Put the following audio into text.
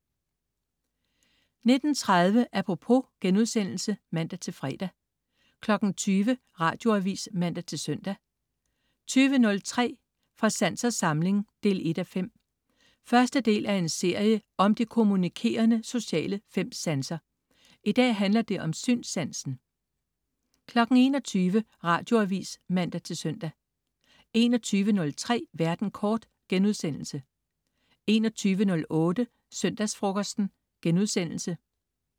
19.30 Apropos* (man-fre) 20.00 Radioavis (man-søn) 20.03 Fra sans og samling 1:5. Første del af en serie om de kommunikerende sociale fem sanser. I dag handler det om synssansen 21.00 Radioavis (man-søn) 21.03 Verden kort* 21.08 Søndagsfrokosten*